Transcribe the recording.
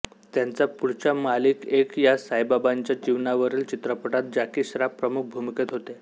त्यांचा पुढच्या मालिक एक या साईबाबांच्या जीवनावरील चित्रपटात जॅकी श्रॉफ प्रमुख भूमिकेत होते